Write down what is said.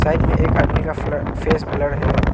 Side में में एक आदमी का फेस ब्लर है।